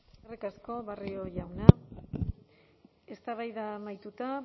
eskerrik asko barrio jauna eztabaida amaituta